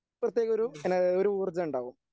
പ്രത്യേകമൊരു എന ഒരു ഊർജ്ജം ഉണ്ടാകും.